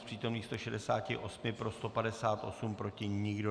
Z přítomných 168 pro 158, proti nikdo.